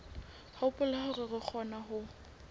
hopola hore re kgona ho